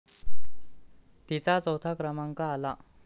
तिचा चौथा क्रमांक आला.